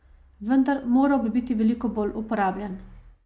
Vendar moral bi biti veliko bolj uporabljen.